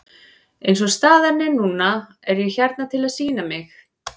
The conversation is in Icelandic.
Eins og staðan er núna er ég hérna til að sýna mig.